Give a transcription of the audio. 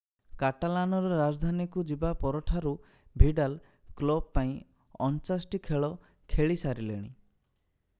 କାଟାଲାନର ରାଜଧାନୀକୁ ଯିବା ପରଠାରୁ ଭିଡାଲ କ୍ଲବ ପାଇଁ 49 ଟି ଖେଳ ଖେଳିସାରିଲେଣି